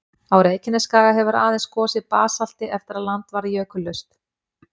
Á Reykjanesskaga hefur aðeins gosið basalti eftir að land varð jökullaust.